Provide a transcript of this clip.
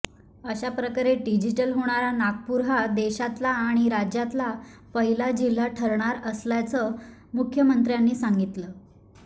अशा प्रकारे डिजिटल होणारा नागपूर हा देशातला आणि राज्यातला पहिला जिल्हा ठरणार असल्याचं मुख्यमंत्र्यांनी सांगितलं